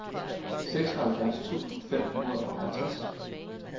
seksoghalvfjerds tusind fem hundrede og halvtreds